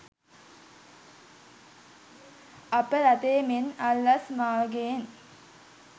අප රටේ මෙන් අල්ලස් මාර්ගයෙන්